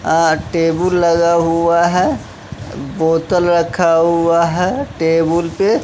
अह table लगा हुआ है बोतल रखा हुआ हैं टेबुल पे--